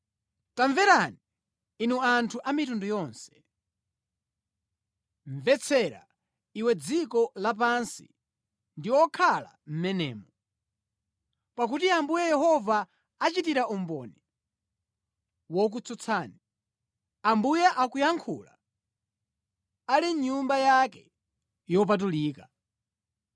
Tamverani, inu anthu a mitundu yonse, mvetsera iwe dziko lapansi ndi okhala mʼmenemo, pakuti Ambuye Yehova achitira umboni wokutsutsani, Ambuye akuyankhula ali mʼnyumba yake yopatulika.